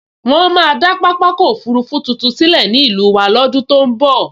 Wọ́n máa dá pápákọ̀ òfurufú tuntun sílẹ̀ ní ìlú wa lọ́dún tó n bọ̀